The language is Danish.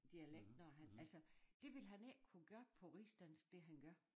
Dialekt når han altså det ville han ikke kunne gøre på rigsdansk det han gør